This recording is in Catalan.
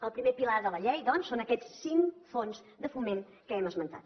el primer pilar de la llei doncs són aquests cinc fons de foment que hem esmentat